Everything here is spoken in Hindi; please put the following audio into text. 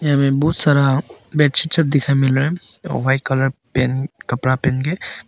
यहां में बहुत सारा मिल रहा है वाइट कलर कपड़ा पहन के।